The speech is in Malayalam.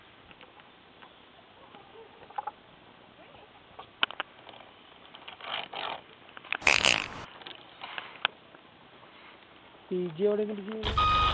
PG എവിടെ